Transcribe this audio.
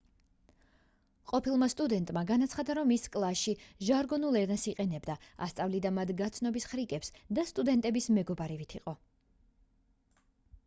ყოფილმა სტუდენტმა განაცხადა რომ ის კლასში ჟარგონულ ენას იყენებდა ასწავლიდა მათ გაცნობის ხრიკებს და სტუდენტების მეგობარივით იყო